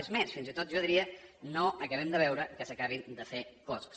és més fins i tot jo diria no acabem de veure que s’acabin de fer coses